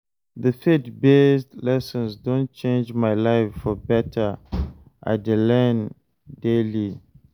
The faith-based lessons don change my life for better, I dey learn daily.